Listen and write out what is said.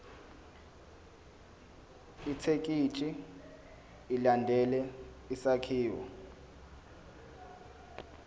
ithekisthi ilandele isakhiwo